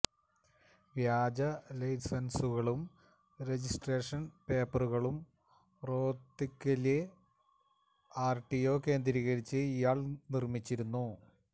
വ്യാജ ലൈസന്സുകളും രജിസ്ട്രേഷന് പേപ്പറുകളും റോത്തകിലെ ആര്ടിഒ കേന്ദ്രീകരിച്ച് ഇയാള് നിര്മിച്ചിരുന്നു